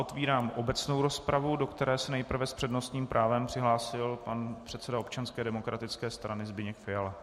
Otvírám obecnou rozpravu, do které se nejprve s přednostním právem přihlásil pan předseda Občanské demokratické strany Petr Fiala.